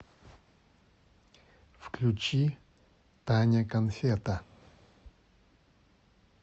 включи таня канфета